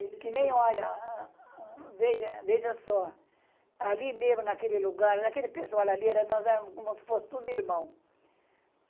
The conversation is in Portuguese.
Que nem, olha, veja, veja só, ali mesmo, naquele lugar, naquele pessoal ali, era nós éramos como se fosse tudo irmão.